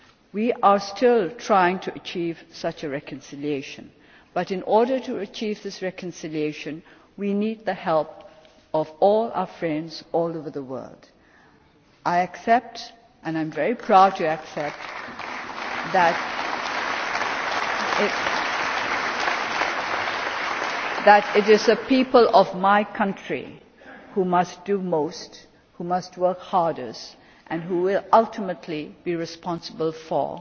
We are still trying to achieve such a reconciliation but, in order to achieve this reconciliation, we need the help of all our friends all over the world. I accept and I am very proud to accept that it is the people of my country who must do most, who must work hardest and who will ultimately be responsible